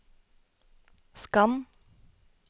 skann